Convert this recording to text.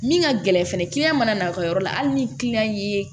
Min ka gɛlɛn fɛnɛ mana na o ka yɔrɔ la hali ni y'